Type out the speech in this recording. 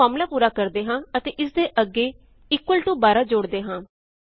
ਆਓ ਫ਼ਾਰਮੂਲਾ ਪੂਰਾ ਕਰਦੇ ਹਾਂ ਅਤੇ ਇਸ ਦੇ ਅੱਗੇ ਇਕੁਅਲ ਟੋ 12 ਜੋੜਦੇ ਹਾਂ